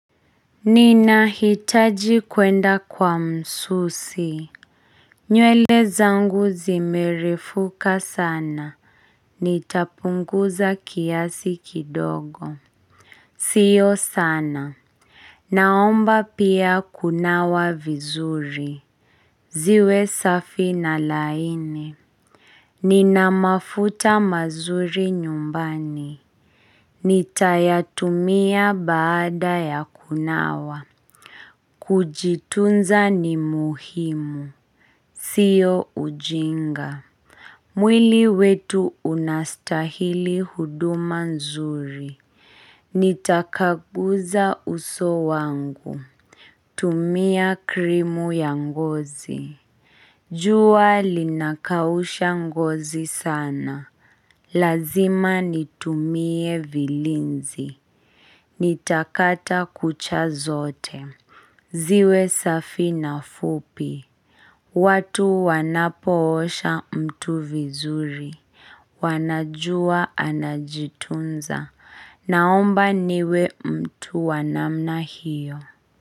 Ninahitaji kwenda kwa msusi nywele zangu zimerefuka sana, nitapunguza kiasi kidogo siyo sana. Naomba pia kunawa vizuri ziwe safi na laini Nina mafuta mazuri nyumbani. Nitayatumia baada ya kunawa Kujitunza ni muhimu, siyo ujinga mwili wetu unastahili huduma nzuri Nitakaguza uso wangu. Tumia krimu ya ngozi jua linakausha ngozi sana Lazima nitumie vilinzi Nitakata kucha zote ziwe safi na fupi watu wanapoosha mtu vizuri, wanajua anajitunza, naomba niwe mtu wa namna hiyo.